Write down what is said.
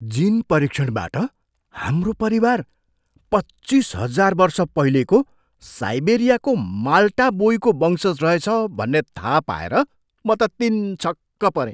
जिन परीक्षणबाट हाम्रो परिवार पच्चिस हजार वर्ष पहिलेको साइबेरियाको माल्टा बोईको वंशज रहेछ भन्ने थाहा पाएर म त तिनछक्क परेँ।